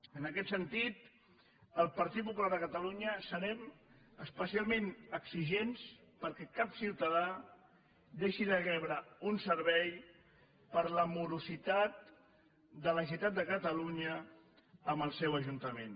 en aquest sentit el partit popular de catalunya serem especialment exigents perquè cap ciutadà deixi de rebre un servei per la morositat de la generalitat de catalunya amb el seu ajuntament